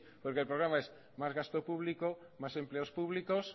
porque el programa es más gasto público más empleos públicos